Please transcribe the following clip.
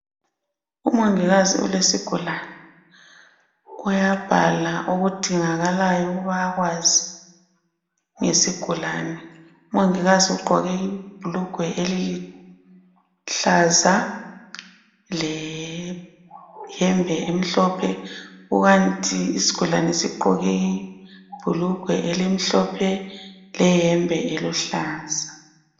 Umongikazi ulesigulane uyabhala okudingakalayo ukuba akwazi ngesigulane, umongikazi ugqoke ibhulugwe eliluhlaza leyembe emhlophe kukanti isigulane sigqoke ibhulugwe elimhlophe leyembe eluhlaza.